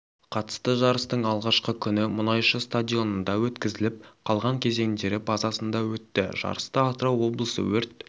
қатысты жарыстың алғашқы күні мұнайшы стадионында өткізіліп қалған кезеңдері базасында өтті жарысты атырау облысы өрт